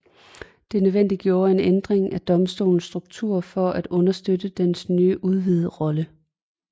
Dette nødvendiggjorde en ændring af Domstolens struktur for at understøtte dens nye udvidede rolle